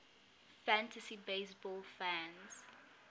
fantasy baseball fans